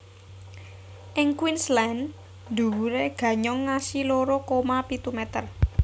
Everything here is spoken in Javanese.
Ing Queensland dhuwuré ganyong ngasi loro koma pitu meter